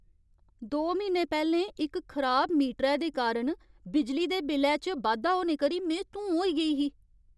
दो म्हीने पैह्लें इक खराब मीटरै दे कारण बिजली दे बिल्लै च बाद्धा होने करी में धूं होई गेई ही।